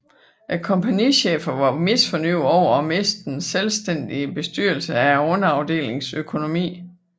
Kompagnicheferne var misfornøjede over at miste den selvstændige bestyrelse af underafdelingernes økonomi